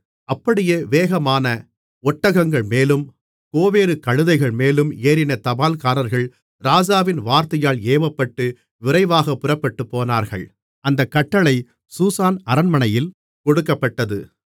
அப்படியே வேகமான ஒட்டகங்கள்மேலும் கோவேறு கழுதைகள்மேலும் ஏறின தபால்காரர்கள் ராஜாவின் வார்த்தையால் ஏவப்பட்டு விரைவாக புறப்பட்டுப்போனார்கள் அந்தக் கட்டளை சூசான் அரண்மனையில் கொடுக்கப்பட்டது